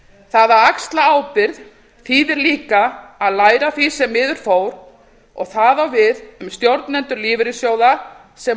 það að axla ábyrgð þýðir líka að læra af því sem miður fór og það á við um stjórnendur lífeyrissjóða sem